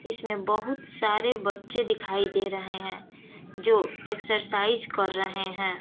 इसमें बहुत सारे बच्चे दिखाई दे रहे है जो एक्ससाइज़ कर रहे हैं।